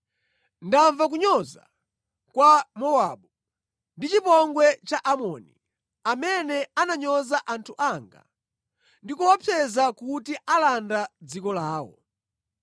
“Ndamva kunyoza kwa Mowabu ndi chipongwe cha Amoni, amene ananyoza anthu anga ndi kuopseza kuti alanda dziko lawo.